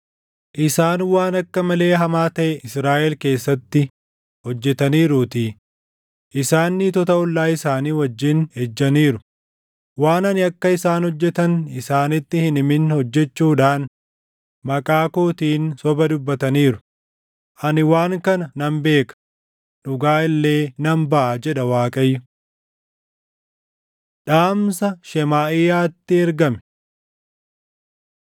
Isaan waan akka malee hamaa taʼe Israaʼel keessatti hojjetaniiruutii; isaan niitota ollaa isaanii wajjin ejjaniiru; waan ani akka isaan hojjetan isaanitti hin himin hojjechuudhaan maqaa kootiin soba dubbataniiru; ani waan kana nan beeka; dhugaa illee nan baʼa” jedha Waaqayyo. Dhaamsa Shemaaʼiyaatti Ergame